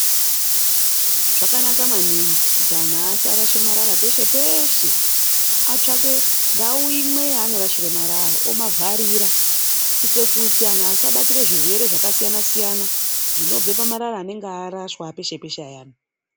Zvakanaka maningi kuti anhu asarashe marara peshe peshe. Atsvake ndau imwe yanorashire marara omavharira kuitira kuti anhu asabatira zvirwere zvakasiyana siyana zvinobve pamarara anenge arashwa peshe peshe ayani.